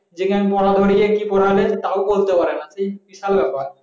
যে কি পড়াবে তা বলতে পারেনা বিশাল ব্যাপার